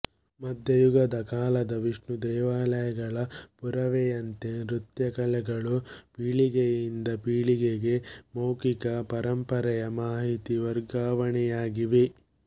ಮಧ್ಯಯುಗದ ಕಾಲದ ವಿಷ್ಣು ದೇವಾಲಯಗಳ ಪುರಾವೆಯಂತೆ ನೃತ್ಯ ಕಲೆಗಳು ಪೀಳಿಗೆಯಿಂದ ಪೀಳಿಗೆಗೆ ಮೌಖಿಕ ಪರಂಪರೆಯ ಮಾಹಿತಿ ವರ್ಗಾವಣೆಯಾಗಿವೆ